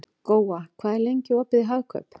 Góa, hvað er lengi opið í Hagkaup?